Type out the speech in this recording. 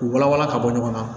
U walawala ka bɔ ɲɔgɔn na